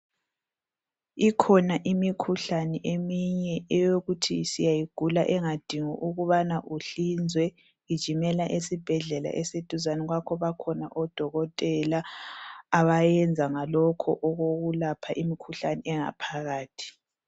Ikhona imikhuhlane eminye eyokuthi siyayigula engadingi ukubana uhlinzwe. Gijimela esibhedlela esiduzane kwakho, bakhona odokotela abayenza ngalokho okokulapha imkhuhlani engaphakathi.